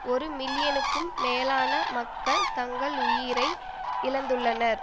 ஒரு மில்லியனுக்கும் மேலான மக்கள் தங்கள் உயிரை இழந்துள்ளனர்